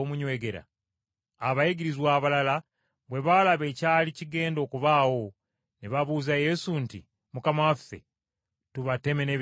Abayigirizwa abalala bwe baalaba ekyali kigenda okubaawo ne babuuza Yesu nti, “Mukama waffe, tubateme n’ebitala byaffe?”